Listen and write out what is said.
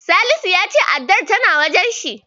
Salisu ya ce addar tana wajensa.